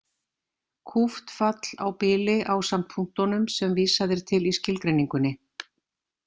Kúpt fall á bili ásamt punktunum sem vísað er til í skilgreiningunni.